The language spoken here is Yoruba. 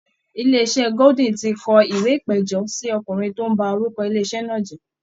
Ilé iṣẹ́ golden ti kọ ìwé ìpẹ̀jọ́ sí ọkùnrin tó ń ba orúkọ ilé iṣẹ́ náà jẹ́